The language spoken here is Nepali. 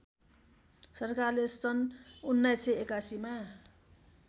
सरकारले सन् १९८१ मा